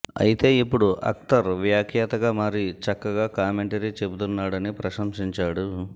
అయితే ఇప్పుడు అక్తర్ వ్యాఖ్యాతగా మారి చక్కగా కామెంటరీ చెబుతున్నాడని ప్రశంసించాడు